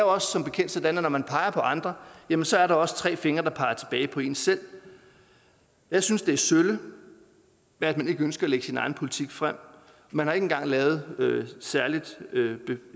også som bekendt sådan at når man peger på andre jamen så er der også tre fingre der peger tilbage på en selv jeg synes det er sølle at man ikke ønsker at lægge sin egen politik frem man har ikke engang lavet noget særligt